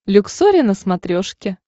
люксори на смотрешке